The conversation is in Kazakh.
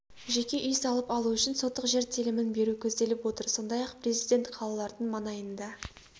жеке үй салып алу үшін сотық жер телімін беру көзделіп отыр сондай-ақ президент қалалардың маңайында